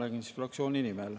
Ja ma räägin fraktsiooni nimel.